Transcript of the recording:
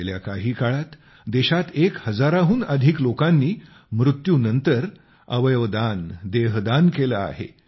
गेल्या काही काळात देशात एक हजाराहून अधिक लोकांनी मृत्यूनंतर त्यांचे अवयव दान केलेले आहे